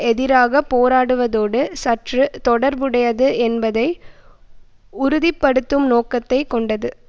எதிராக போராடுவதோடு சற்று தொடர்புடையது என்பதை உறுதி படுத்தும் நோக்கத்தை கொண்டது